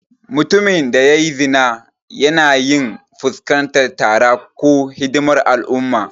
Mutumin da ya yi zina yana iya fuskantar tara ko hidimar al'umma.